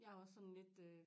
Jeg er også sådan lidt øh